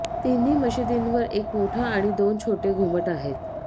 तिन्ही मशिदींवर एक मोठा आणि दोन छोटे घुमट आहेत